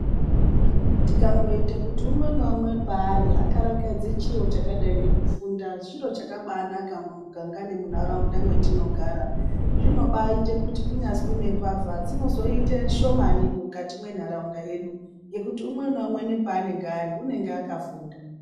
Tikangoita kuti umwe naumwe peari akarakadze chiro chakadai ngekufunda chiro chakabaanaka mumuganga nemunharaunda mwetinogara, chinobaita kuti kunyazwi nembavha dzinozoita shomani mukati mwenharaunda yedu ngekuti umwe naumwe paanenge ari unonga akafunda.